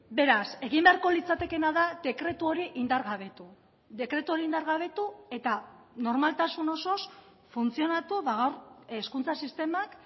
beraz egin beharko litzatekeena da dekretu hori indargabetu dekretu hori indargabetu eta normaltasun osoz funtzionatu gaur hezkuntza sistemak